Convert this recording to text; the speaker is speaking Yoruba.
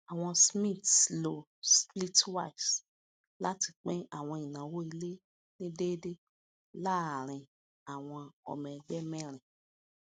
àwọn smiths lo splitwise láti pín àwọn ináwó ilé ní dẹédé láàárín àwọn ọmọ ẹgbẹ mẹrin